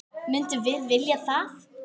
Myndum við vilja það?